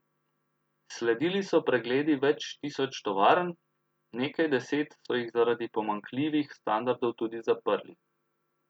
Sledili so pregledi več tisoč tovarn, nekaj deset so jih zaradi pomanjkljivih standardov tudi zaprli.